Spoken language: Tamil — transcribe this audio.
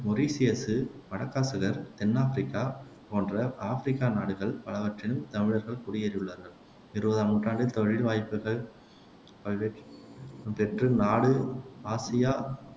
மொரிசியசு, மடகாசுகர், தென்னாபிரிக்கா போன்ற ஆப்பிரிக்கா நாடுகள் பலவற்றில் தமிழர்கள் குடியேறியுள்ளார்கள் இருவதாம் நூற்றாண்டில் தொழில் வாய்ப்புகள் பல்வேற் பெற்று நாடு ஆசியா